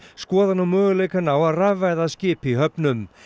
skoða nú möguleikann á að rafvæða skip í höfninni